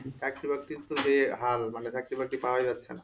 চাকরি বাকরি তো যে হাল মানে চাকরি বাকরি পাওয়াই যাচ্ছে না